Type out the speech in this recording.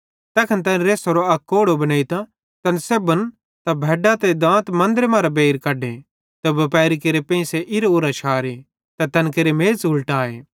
तैखन तैनी रेस्सरो अक कोड़ो बनेइतां तैनन् सेब्भन त भैड्डां त दांत मन्दरे मरां बेइर कढे त बुपारी केरे पेंइसे इरां उरां शारे त तैन केरे मेज़ उलटाए